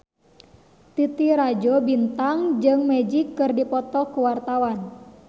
Titi Rajo Bintang jeung Magic keur dipoto ku wartawan